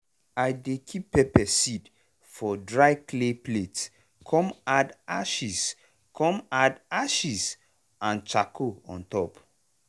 i dey keep pepper seed for dry clay plate come add ashes come add ashes and charcoal on top.